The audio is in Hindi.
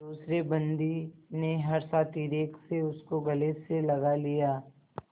दूसरे बंदी ने हर्षातिरेक से उसको गले से लगा लिया